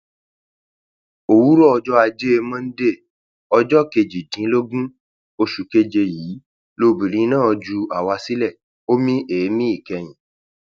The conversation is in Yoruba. òwúrọ ọjọ ajé monde ọjọ kejìdínlógún oṣù keje yìí lobìnrin náà ju àwa sílẹ ó mí èémí ìkẹyìn